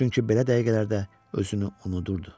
Çünki belə dəqiqələrdə özünü unudurdu.